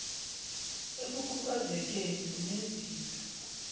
ekukhubaze keni unezinto